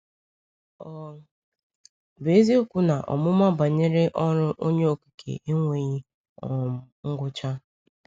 Ọ bụ eziokwu na ọmụma banyere ọrụ Onye Okike enweghị um ngwụcha.